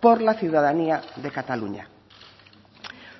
por la ciudadanía de cataluña